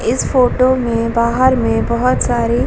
इस फोटो में बाहर में बहुत सारी --